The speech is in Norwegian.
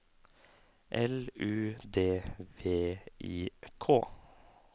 L U D V I K